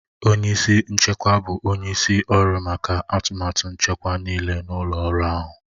Onye isi nchekwa bụ onye isi ọrụ maka atụmatụ nchekwa nịịle n'ụlọ ọrụ ahụ.